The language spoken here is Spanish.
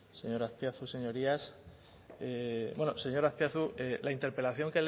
señor azpiazu señorías bueno señor azpiazu la interpelación